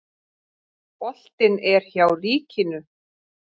Boltinn er hjá ríkinu.